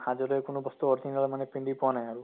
আজিলৈ কোনো বস্তু original মানে পিন্ধি পোৱা নাই আৰু